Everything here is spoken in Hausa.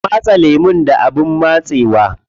Kwa matse lemun da abin matsewa.